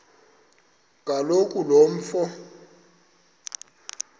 kaloku lo mfo